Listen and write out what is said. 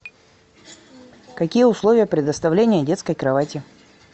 какие условия предоставления детской кровати